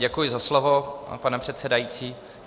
Děkuji za slovo, pane předsedající.